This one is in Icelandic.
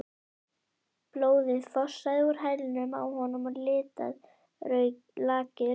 Blóðið fossaði úr hælnum á honum og litaði lakið rautt.